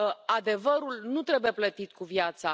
Adevărul nu trebuie plătit cu viața.